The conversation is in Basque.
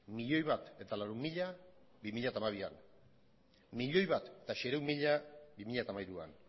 milioi bat laurehun mila bi mila hamabian milioi bat seiehun mila bi mila hamairuan